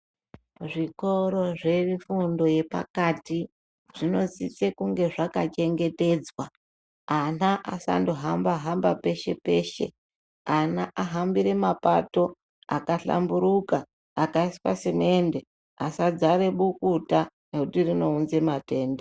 Zvikoro zvefundo yepakati, zvinosise kunge zvakachengetedzwa. Ana asandohamba-hamba peshe-peshe, ana ahambire mapato akahlamburuka, akaiswa semende, asadzare bukuta, ngekuti rinounza matenda.